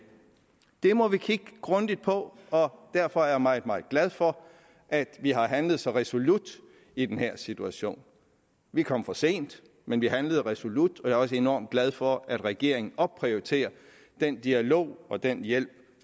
det må vi kigge grundigt på og derfor er jeg meget meget glad for at vi har handlet så resolut i den her situation vi kom for sent men vi handlede resolut jeg er også enormt glad for at regeringen opprioriterer den dialog og den hjælp